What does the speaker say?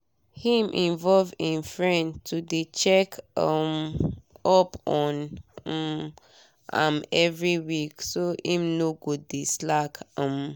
him involve him friend to dey check um up on um am every week so him no go dey slack um